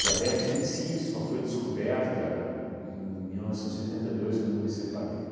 Diabete em si só foi descoberta em mil novecentos e setenta e dois, quando me separei.